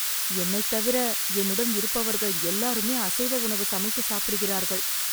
என்னைத் தவிர, என்னுடன் இருப்பவர்கள் எல்லாருமே அசைவ உணவு சமைத்து சாப்பிடுகிறார்கள்...